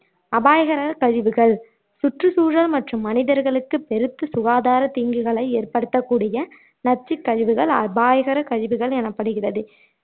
அபாயகர கழிவுகள் சுற்றுசூழல் மற்றும் மனிதர்களுக்கு பெருத்த சுகாதார தீங்குகளை ஏற்படுத்தக்கூடிய நச்சுக் கழிவுகள் அபாயகர கழிவுகள் எனப்படுகிறது